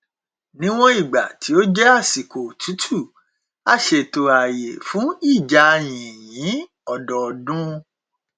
níwọn ìgbà tí ó jẹ àsìkò otútù a ṣètò ààyè fún ìjà yìnyín ọdọọdún